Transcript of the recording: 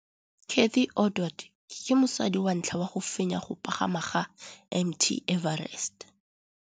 Cathy Odowd ke mosadi wa ntlha wa go fenya go pagama ga Mt Everest.